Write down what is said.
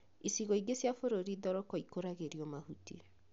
Icigo ingĩ cia bũrũri thoroko ikũragĩrio mahuti